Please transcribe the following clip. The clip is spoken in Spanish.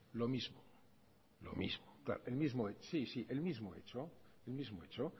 lo mismo sí sí el mismo hecho el mismo hecho